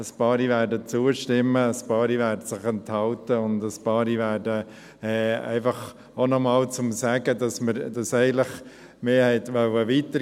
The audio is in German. Ein paar werden zustimmen, ein paar werden sich enthalten, und ein paar werden ablehnen – einfach auch, um noch einmal zu sagen, dass wir eigentlich hätten weitergehen wollen.